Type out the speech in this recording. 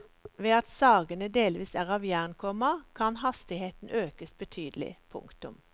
Ved at sagene delvis er av jern, komma kan hastigheten økes betydelig. punktum